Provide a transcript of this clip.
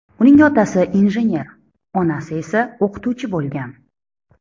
Uning otasi injener, onasi esa o‘qituvchi bo‘lgan.